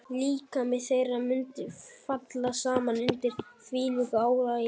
Líkami þeirra mundi falla saman undir þvílíku álagi.